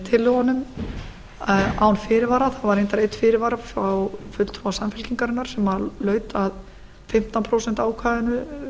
tillögunum án fyrirvara það var reyndar einn fyrirvari frá fulltrúa samfylkingarinnar sem laut að fimmtán prósent ákvæðinu